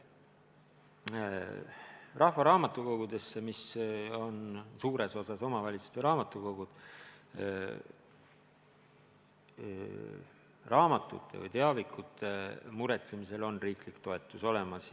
Rahvaraamatukogudesse, mis on suures osas omavalitsuste raamatukogud, raamatute ja teiste teavikute muretsemiseks on riigi toetus olemas.